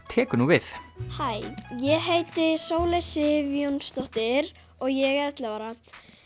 tekur nú við hæ ég heiti Sóley Sif Jónsdóttir og ég er ellefu ára